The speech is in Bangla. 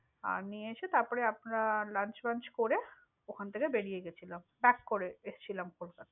আর নিয়ে এসে, তারপরে আমরা launch করে ওখান থেকে বেরিয়ে গেছিলাম। করে এসেছিলাম কলকাতা।